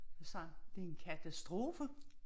Han sagde det er en katastrofe